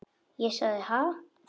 Ég sagði: Ha?